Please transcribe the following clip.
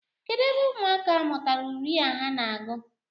Kedụ ebe ụmụaka a mụtara uri a ha na-agụ?